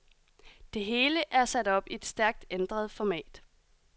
Det hele er sat op i et stærkt ændret format.